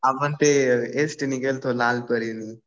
आपण ते एसटी ने गेलतो लाल परी ने.